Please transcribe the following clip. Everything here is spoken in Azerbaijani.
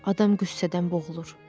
Adam qüssədən boğulur.